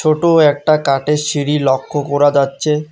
ছোট একটা কাঠের সিঁড়ি লক্ষ্য করা যাচ্ছে।